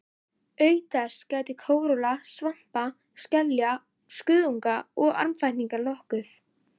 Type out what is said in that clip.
Auk þess gætti kóralla, svampa, skelja, kuðunga og armfætlinga nokkuð.